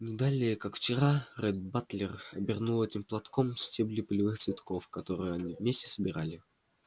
не далее как вчера ретт батлер обернул этим платком стебли полевых цветков которые они вместе собирали